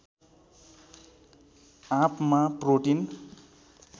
आँपमा प्रोटिन